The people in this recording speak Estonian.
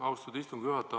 Austatud istungi juhataja!